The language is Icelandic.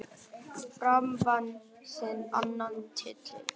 Fram vann sinn annan titil.